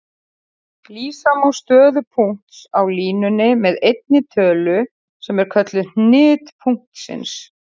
Lýsa má stöðu punkts á línunni með einni tölu sem er kölluð hnit punktsins.